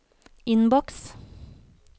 innboks